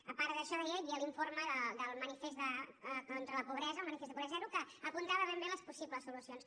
a part d’això deia hi havia l’informe del manifest contra la pobresa el manifest de pobresa zero que apuntava ben bé les possibles solucions